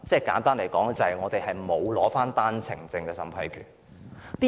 簡單而言，是因為香港沒有單程證審批權。